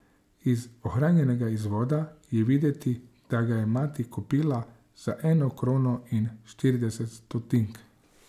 Iz ohranjenega izvoda je videti, da ga je mati kupila za eno krono in štirideset stotink.